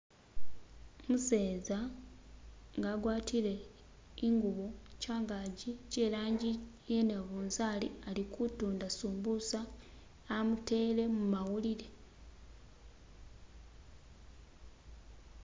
Umuseza nga agwatile ingubo changaji che irangi iye nabunzari ali kutunda sumbusa amuteele mumawulile.